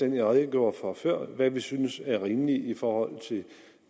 dem jeg redegjorde for før altså hvad vi synes er rimeligt i forhold til